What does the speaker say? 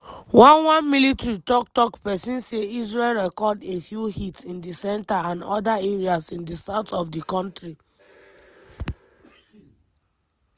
one one military tok-tok pesin say israel record "a few hits in di centre and oda areas in di south of di kontri".